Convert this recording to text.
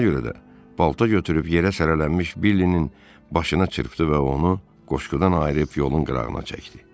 Buna görə də balta götürüb yerə sərilənmiş Billinin başına çırpdı və onu qoşqudan ayırıb yolun qırağına çəkdi.